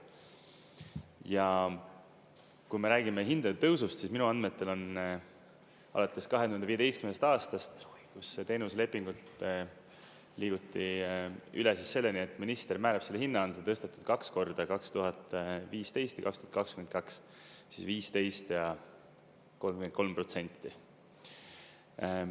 Ja kui me räägime hindade tõusust, siis minu andmetel on alates 2015. aastast, kus teenuslepingult liiguti üle selleni, et minister määrab selle hinna, on seda tõstetud kaks korda: 2015 ja 2022, siis 15 ja 33 protsenti.